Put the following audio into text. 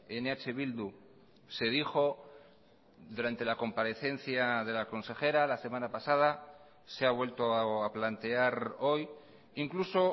en eh bildu se dijo durante la comparecencia de la consejera la semana pasada se ha vuelto a plantear hoy incluso